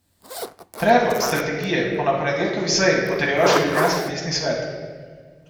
Predlog strategije bo na ponedeljkovi seji potrjeval še ljubljanski mestni svet.